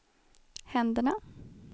händerna